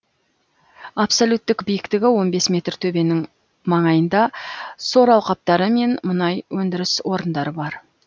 абсолюттік биіктігі он бес метр төбенің маңайында сор алқаптары мен мұнай өндіріс орындары бар